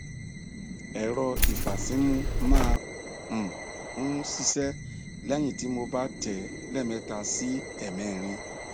ẹrọ ìfàsímú máa um ń ṣiṣẹh lẹyìn tí mo bá tẹ ẹ lẹẹmẹta sí ẹẹmẹrin